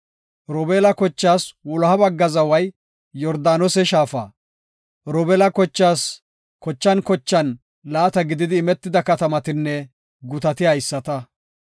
Robeela kochaas wuloha bagga zaway Yordaanose shaafa. Robeela kochaas kochan kochan laata gididi imetida katamatinne gutati haysata.